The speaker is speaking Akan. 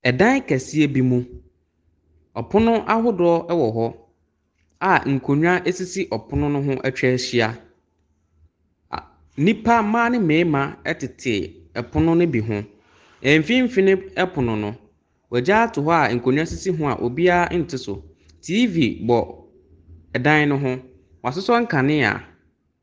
Wɔreda wɔn kuro mu amammerɛ adi. Wɔresa. Mmarima no bobɔ duku. Mmaa no nso, koraa butubutu wɔn tiri so. Wɔasosɔ nkanea.